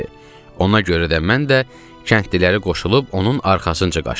Ona görə də mən də kəndlilərə qoşulub onun arxasınca qaçdım.